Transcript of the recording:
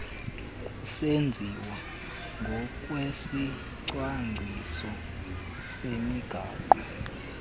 kusenziwa ngokwesicwangciso semigaqo